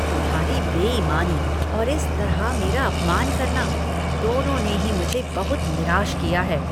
तुम्हारी बेईमानी और इस तरह मेरा अपमान करना, दोनों ने ही मुझे बहुत निराश किया है।